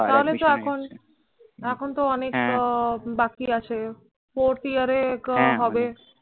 তাহলে তো এখন এখন তো অনকেটা বাকি আছে forth year এ করা হবে। হ্য়াঁ হ্য়াঁ prior admission নিয়ে নিচ্ছে।